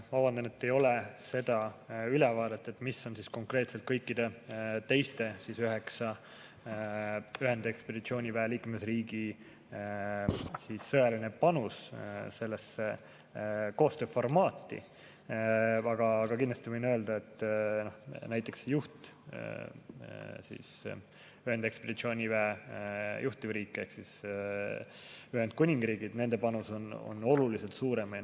Ma vabandan, et mul ei ole seda ülevaadet, mis on konkreetselt kõikide teiste üheksa ühendekspeditsiooniväe liikmesriigi sõjaline panus sellesse koostööformaati, aga kindlasti võin öelda, et näiteks ühendekspeditsiooniväe juhtiva riigi ehk Ühendkuningriigi panus on oluliselt suurem.